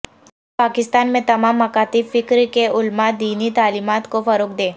پاکستان میں تمام مکاتب فکر کے علماءدینی تعلیمات کو فروغ دیں